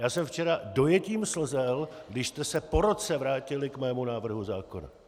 Já jsem včera dojetím slzel, když jste se po roce vrátili k mému návrhu zákona.